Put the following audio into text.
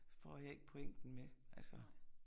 Får jeg ikke pointen med altså